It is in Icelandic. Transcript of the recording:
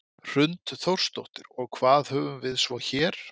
Hrund Þórsdóttir: Og hvað höfum við svo hér?